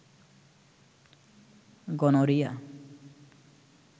gonorrhoea